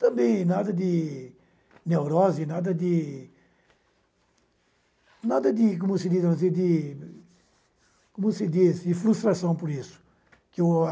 Também nada de neurose, nada de nada de como se diz de frustração por isso. Que o